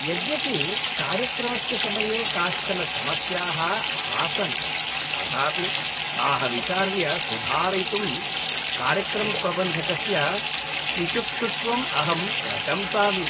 यद्यपि कार्यक्रमस्य समये काश्चन समस्याः आसन्, तथापि ताः विचार्य सुधारयितुं कार्यक्रमप्रबन्धकस्य शिशुक्षुत्वम् अहं प्रशंसामि।